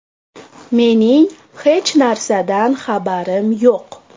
Mening hech narsadan xabarim yo‘q.